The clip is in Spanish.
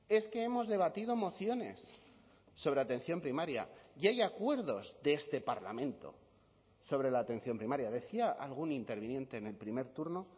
es que hemos debatido mociones sobre atención primaria y hay acuerdos de este parlamento sobre la atención primaria decía algún interviniente en el primer turno